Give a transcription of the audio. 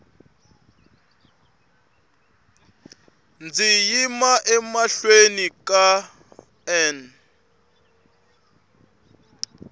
ndzi yima emahlweni ka n